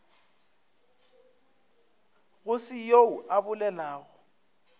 go se yoo a bolelago